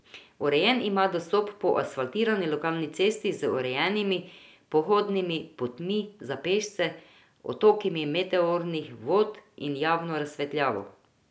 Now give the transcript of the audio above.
Urejen ima dostop po asfaltirani lokalni cesti z urejenimi pohodnimi potmi za pešce, odtoki meteornih vod in javno razsvetljavo.